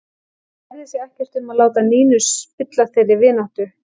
Hann kærði sig ekkert um að láta Nínu spilla þeirri vináttu.